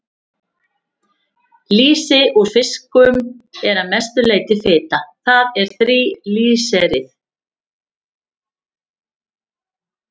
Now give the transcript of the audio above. Lýsi úr fiskum er að mestu hrein fita, það er þríglýseríð.